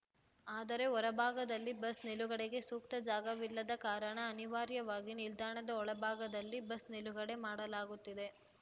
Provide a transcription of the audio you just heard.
ಆದರೆ ಹೊರಭಾಗದಲ್ಲಿ ಬಸ್‌ ನಿಲುಗಡೆಗೆ ಸೂಕ್ತ ಜಾಗವಿಲ್ಲದ ಕಾರಣ ಅನಿವಾರ್ಯವಾಗಿ ನಿಲ್ದಾಣದ ಒಳ ಭಾಗದಲ್ಲಿ ಬಸ್‌ ನಿಲುಗಡೆ ಮಾಡಲಾಗುತ್ತಿದೆ